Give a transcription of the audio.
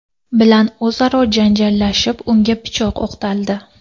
bilan o‘zaro janjallashib, unga pichoq o‘qtaldi.